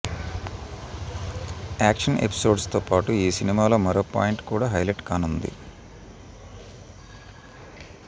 action episodes తో పాటు ఈ సినిమాలో మరో పాయింట్ కూడా హైలైట్ కానుంది